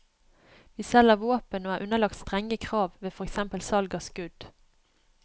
Vi selger våpen og er underlagt strenge krav ved for eksempel salg av skudd.